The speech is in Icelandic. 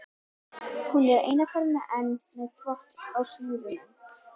Hún er eina ferðina enn með þvott á snúrunum.